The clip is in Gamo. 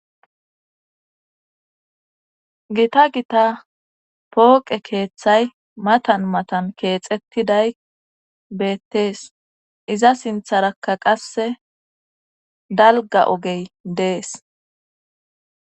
Gita gita pooqe keeththay matan matan keexetiday beettees iza sintharakka qasse dalga ogey dees.